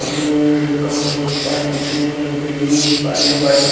road का photo देख पा रहे हैं पीछे में लोग बिल्डिंग देख पा रहे हैं जो वाइट कल --